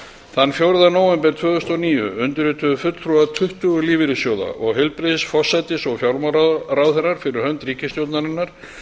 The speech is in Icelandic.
þann fjórða nóvember tvö þúsund og níu undirrituðu fulltrúar tuttugu lífeyrissjóða og heilbrigðis forsætis og fjármálaráðherrar fyrir hönd ríkisstjórnarinnar